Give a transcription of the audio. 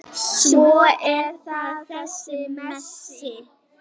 Svo er það þessi Messi.